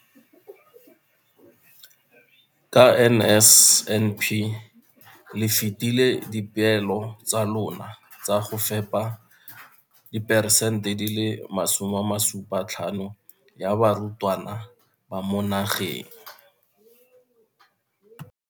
ka NSNP le fetile dipeelo tsa lona tsa go fepa diperesente di le 75 ya barutwana ba mo nageng.